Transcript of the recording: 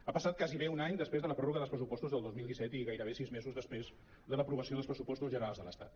ha passat quasi bé un any després de la pròrroga dels pressupostos del dos mil disset i gairebé sis mesos després de l’aprovació dels pressupos·tos generals de l’estat